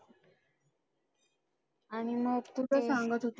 आणि मग कुठं सांगत होते,